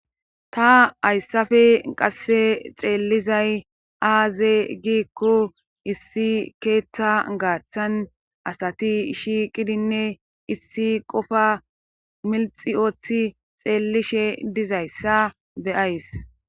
ta ayssafe qasse xeellizay aaze giikko issi keeththa gaaththan asati shiiqidinne issi qofa minxi ooththi xeellishe dizayssa be'ays